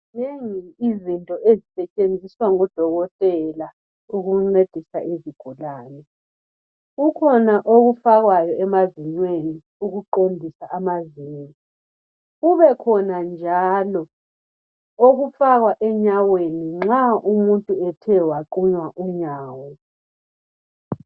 Zinengi izinto ezisetshenziswa ngodokotela ukuncedisa izigulane. Kukhona okufakwayo emazinyweni ukuqondisa amazinyo. Kubekhona njalo okufakwa enyaweni nxa umuntu ethe waqunywa unyawo.